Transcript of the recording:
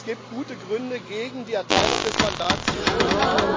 Es gibt gute Gründe, gegen die Erteilung des Mandats zu stimmen.